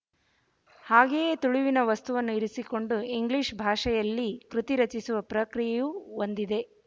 ಹಾಗೆಯೇ ತುಳುವಿನ ವಸ್ತುವನ್ನು ಇರಿಸಿಕೊಂಡು ಇಂಗ್ಲಿಶ ಭಾಷೆಯಲ್ಲಿ ಕೃತಿ ರಚಿಸುವ ಪ್ರಕ್ರಿಯೆಯು ಒಂದಿದೆ